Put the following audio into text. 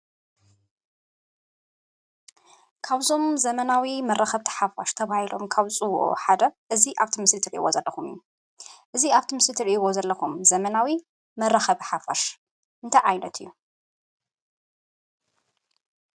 ካብ እዞም ዘመናዊ መራከብቲ ሓፋሽ ተባሂሎም ካብ ዝፅዉዑ ሓደ እዚ ኣብ እቲ ምስሊ ትሪእዎ ዘለኩም እዩ። እዚ ኣብዚ ምስሊ ትሪእዎ ዘለኩም ዘመናዊ መራከብቲ ሓፋሽ እንታይ ዓይነት እዩ?